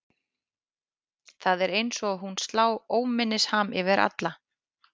Það er eins og hún slá óminnisham yfir alla.